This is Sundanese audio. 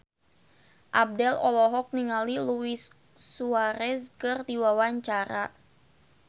Abdel olohok ningali Luis Suarez keur diwawancara